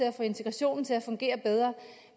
at få integrationen til at fungere bedre